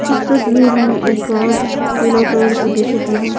इस तस्वीर में एक गार्ड पीला कलर की टी-शर्ट मै है।